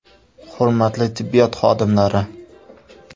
Hurmatli tibbiyot xodimlari!